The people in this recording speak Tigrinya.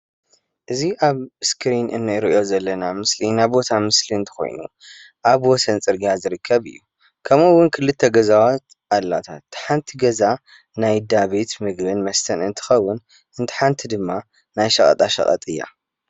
እዚ ኣብ እስክሪን እንሪኦ ዘለና ምስሊ ናይ ቦታ ምስሊ እንተኮይኑ ኣብ ወሰን ፅርግያ ዝርከብ እዩ ከምኡ እዉን ክልተ ገዛታት ኣለዋ ታሓንቲ ገዛ ናይ ዳ ቤት ምግብን መስተን እንትከዉን እታ ሓንቲ ድማ ናይ ሸቀጣሸቀጥ እያ።